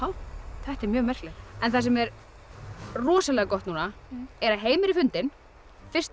þetta er mjög merkilegt en það sem er rosalega gott núna er að Heimir er fundinn fyrsti